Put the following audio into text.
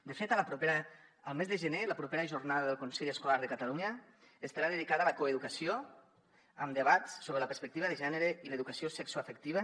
de fet el mes de gener la propera jornada del consell escolar de catalunya estarà dedicada a la coeducació amb debats sobre la perspectiva de gènere i l’educació sexoafectiva